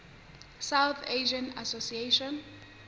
south asian association